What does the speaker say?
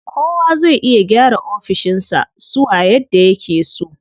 Kowa zai iya gyara ofishin sa suwa yadda yake so.